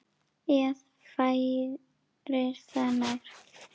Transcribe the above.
Eða færir það nær.